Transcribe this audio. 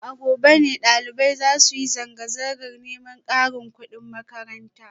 A gobe ne dalibai za su yi zanga-zangar neman karin kudin makaranta